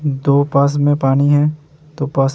दो पास में पानी है। दो पास --